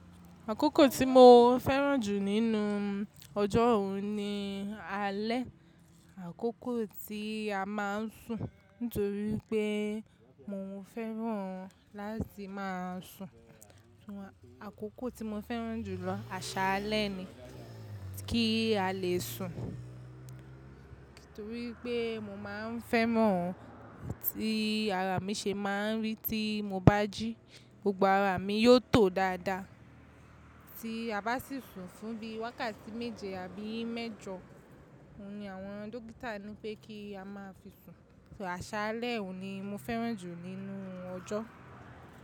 Àkókò tí mo fẹ́ràn jù nínú ọjọ́ òun ni alẹ́. Àkókò tí a má ń sùn nítorí pé mo fẹ́ràn láti máa sùn. Àkókò tí mo fẹ́ràn jùlọ àṣálẹ́ ni kí a lè sùn torí pé mo má ń fẹ́ mọ ohun tí ara mi se máa ń rí tí mo bá jí. Gbogbo ara mi yóò tò dáadáa tí a bá sì sùn fún bí i wákàtí méje àbí mẹ́jọ, òun ni àwọn dókítà ní pé kí a máa fi sùn. Àṣálẹ́ òun ni mo fẹ́ràn jù nínú ọjọ́.